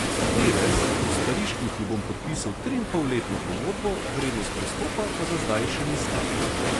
Tevez bo s pariškim klubom podpisal triinpolletno pogodbo, vrednost prestopa pa za zdaj še ni znana.